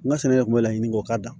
N ka sɛnɛ de kun bɛ laɲini k'o kan